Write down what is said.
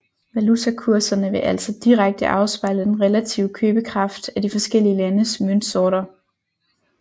Valutakurserne vil altså direkte afspejle den relative købekraft af de forskellige landes møntsorter